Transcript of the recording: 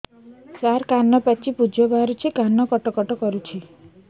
ସାର କାନ ପାଚି ପୂଜ ବାହାରୁଛି କାନ କଟ କଟ କରୁଛି